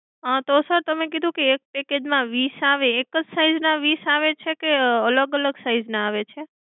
હા તો sir તમે કીધું કે એક package માં વીસ આવે એક જ size ના વીસ આવે છે અલગ અલગ size ના આવે છે?